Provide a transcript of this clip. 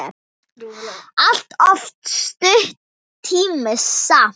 Allt of stuttur tími samt.